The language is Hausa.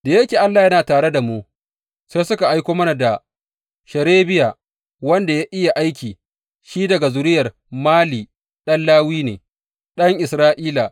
Da yake Allah yana tare da mu, sai suka aiko mana da Sherebiya, wanda ya iya aiki, shi daga zuriyar Mali ɗan Lawi ne, ɗan Isra’ila.